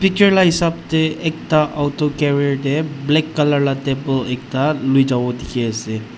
picture la hisap tae ekta auto carrier te black colour laga table ekta loi jabo dekhi ase.